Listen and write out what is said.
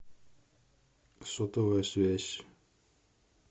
сотовая связь